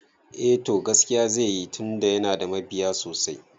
Eh to, gaskiya zai yi tunda yana da mabiya sosai